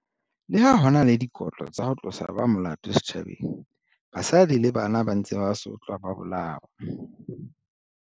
Leha ho e na le dikotlo tsa ho tlosa ba molato setjhabeng, basadi le bana ba ntse ba sotlwa ba bolawa.